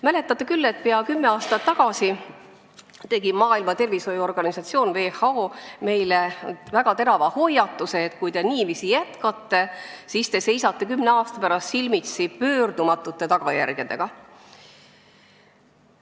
Mäletate küll, et pea kümme aastat tagasi tegi Maailma Terviseorganisatsioon WHO meile väga terava hoiatuse: kui te niiviisi jätkate, siis te seisate kümne aasta pärast silmitsi pöördumatute tagajärgedega.